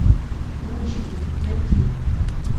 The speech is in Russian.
гонщики найти